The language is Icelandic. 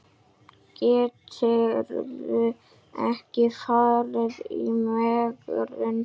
Gætirðu ekki farið í megrun?